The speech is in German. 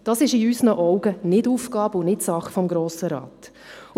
Das ist in unseren Augen nicht Aufgabe und nicht Sache des Grossen Rates.